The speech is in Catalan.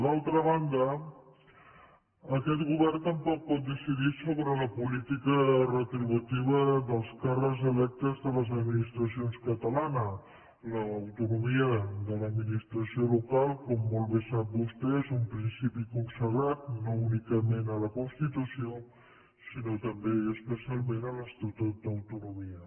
d’altra banda aquest govern tampoc pot decidir sobre la política retributiva dels càrrecs electes de les administracions catalanes l’autonomia de l’administració local com molt bé sap vostè és un principi consagrat no únicament a la constitució sinó també i especialment en l’estatut d’autonomia